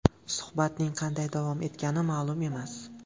Suhbatning qanday davom etgani ma’lum emas.